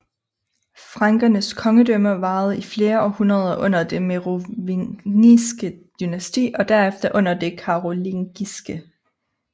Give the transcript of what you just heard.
Frankernes kongedømme varede i flere århundreder under det merovingiske dynasti og derefter under det karolingiske